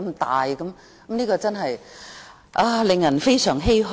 這件事真是令人非常欷歔。